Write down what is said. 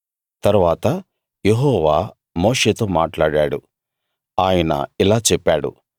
తరువాత యెహోవా మోషేతో మాట్లాడాడు ఆయన ఇలా చెప్పాడు